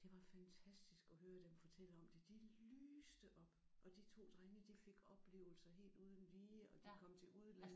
Det var fantastisk at høre dem fortælle om det. De lyste op! Og de to drenge de fik oplevelser helt uden lige og de kom til udlandet